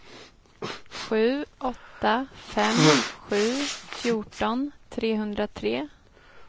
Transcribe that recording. sju åtta fem sju fjorton trehundratre